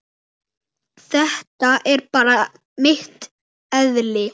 Þetta er bara mitt eðli.